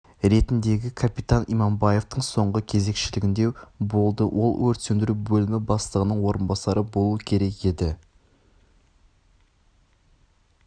ретіндегі капитан иманбаевтың соңғы кезекшілігінде болды ол өрт сөндіру бөлімі бастығының орынбасары болуы керек еді